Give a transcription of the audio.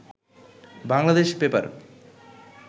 Bangladesh paper